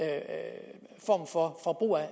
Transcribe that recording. er